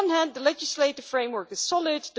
On the one hand, the legislative framework is solid.